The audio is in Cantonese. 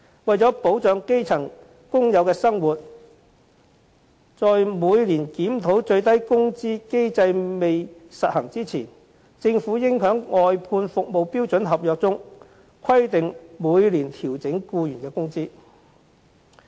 為了保障基層工友的生活，在每年檢討最低工資的機制未實行前，政府應在外判服務標準合約中規定每年調整僱員工資。